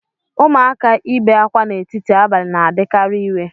Ụmụaka ị be ákwá n'etiti abalị na-adịkarị iwe